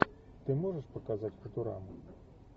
ты можешь показать футураму